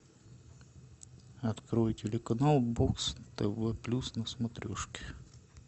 открой телеканал бокс тв плюс на смотрешке